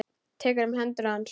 Tekur um hendur hans.